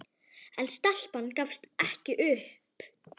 En stelpan gafst ekki upp.